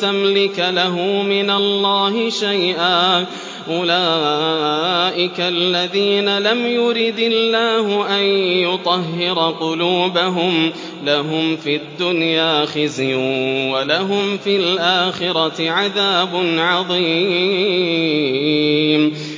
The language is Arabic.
تَمْلِكَ لَهُ مِنَ اللَّهِ شَيْئًا ۚ أُولَٰئِكَ الَّذِينَ لَمْ يُرِدِ اللَّهُ أَن يُطَهِّرَ قُلُوبَهُمْ ۚ لَهُمْ فِي الدُّنْيَا خِزْيٌ ۖ وَلَهُمْ فِي الْآخِرَةِ عَذَابٌ عَظِيمٌ